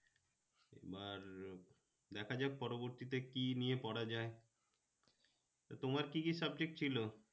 আর দেখা যায় পরবর্তীতে কি নিয়ে পড়া যায় তো তোমার কি কি subject ছিল?